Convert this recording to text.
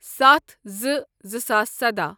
ستھ زٕ زٕ ساس سداہ